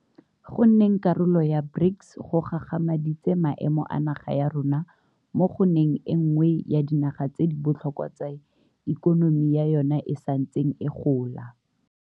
Go nneng karolo ya BRICS go gagamaditse maemo a naga ya rona mo go nneng e nngwe ya dinaga tse di botlhokwa tse ikonomi ya yona e santseng e gola.